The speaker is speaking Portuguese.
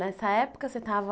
Nessa época você estava...